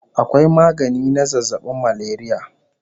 Akwai magani na zazzabin malaria